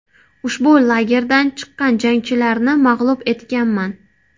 Ushbu lagerdan chiqqan jangchilarni mag‘lub etganman.